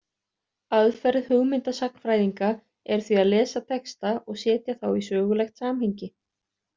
Aðferð hugmyndasagnfræðinga er því að lesa texta og setja þá í sögulegt samhengi.